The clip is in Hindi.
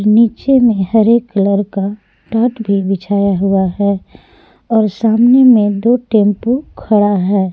नीचे में हरे कलर का टाट भी बिछाया हुआ है और सामने में दो टेंपू खड़ा है।